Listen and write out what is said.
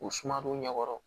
U suma n'u ɲɛkɔrɔ